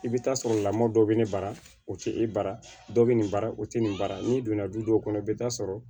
I bɛ taa sɔrɔ lamɔ dɔ bɛ ne bara o tɛ e bara dɔ bɛ nin bara o tɛ nin baara n'i donna du dɔw kɔnɔ i bɛ taa sɔrɔ